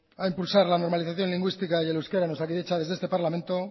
a impulsar la normalización lingüística y el euskera en osakidetza desde este parlamento